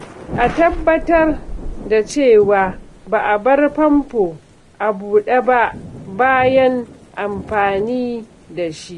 A tabbatar da cewa ba a bar famfo a buɗe ba bayan amfani da shi.